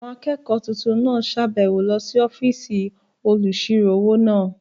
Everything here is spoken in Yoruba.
Àwọn akẹ́kọ̀ọ́ tuntun náà sàbẹ̀wo lọ sí ọ́fìsì olùsirò-owó náà